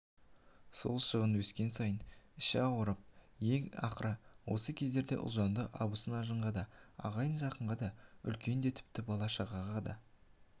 сол шығын өскен сайын іші ауырып ең ақыры осы кездерде ұлжанды абысын-ажынға да ағайын-жақын үлкенге де тіпті бала-шағаға